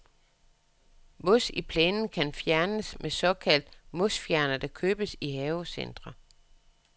Mos i plænen kan fjernes med såkaldt mosfjerner, der købes i havecentre.